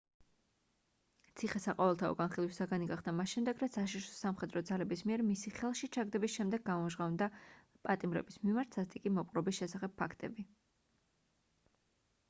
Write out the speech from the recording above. ციხე საყოველთაო განხილვის საგანი გახდა მას შემდეგ რაც აშშ-ის სამხედრო ძალების მიერ მისი ხელში ჩაგდების შემდეგ გამჟღავნდა პატიმრების მიმართ სასტიკი მოპყრობის შესახებ ფაქტები